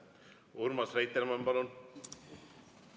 Urmas Reitelmann, palun!